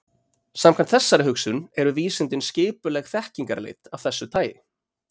Samkvæmt þessari hugsun eru vísindin skipuleg þekkingarleit af þessu tagi.